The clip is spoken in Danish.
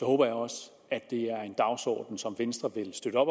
håber jeg også at det er en dagsorden som venstre vil støtte